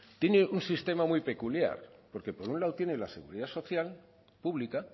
tiene un sistema muy peculiar porque por un lado tiene la seguridad social pública